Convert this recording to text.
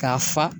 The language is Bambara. K'a fa